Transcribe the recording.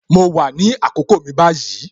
Mo wà ní àkókò mi báyìí